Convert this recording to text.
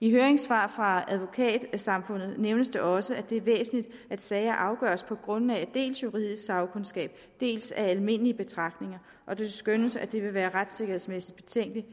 i høringssvaret fra advokatsamfundet nævnes det også at det er væsentligt at sager afgøres på grundlag af dels juridisk sagkundskab dels almindelige betragtninger og det skønnes at det vil være retssikkerhedsmæssigt betænkeligt